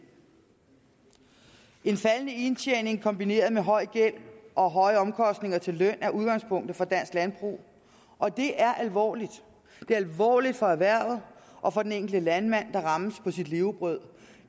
en faldende indtjening kombineret med høj gæld og høje omkostninger til løn er udgangspunktet for dansk landbrug og det er alvorligt det er alvorligt for erhvervet og for den enkelte landmand der rammes på sit levebrød